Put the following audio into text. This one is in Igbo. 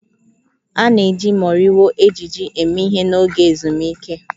A na-eji moriwo ejiji eme ihe n'oge ezumike